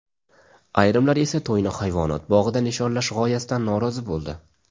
Ayrimlar esa to‘yni hayvonot bog‘ida nishonlash g‘oyasidan norozi bo‘ldi.